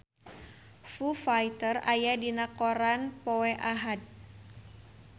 Foo Fighter aya dina koran poe Ahad